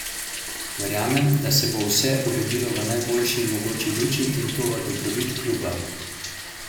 Verjamem, da se bo vse uredilo v najboljši mogoči luči in v dobrobit kluba.